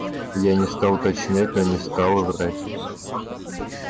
я не стал уточнять но не стал и врать